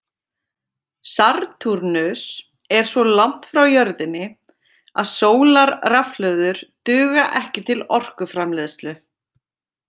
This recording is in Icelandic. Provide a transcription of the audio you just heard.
Satúrnus er svo langt frá jörðinni að sólarrafhlöður duga ekki til orkuframleiðslu.